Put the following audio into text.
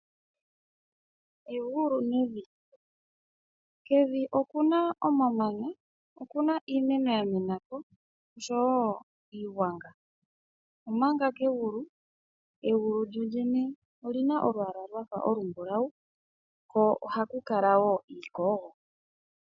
Egulu nevi. Kevi okuna omamanya, okuna iimeno ya menako osho wo iigwanga. Omanga kegulu, egulu lyo lyene olyina olwaala lwafa olumbulawu ko ohaku kala woo iikogo.